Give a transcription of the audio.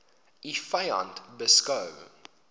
u vyand beskou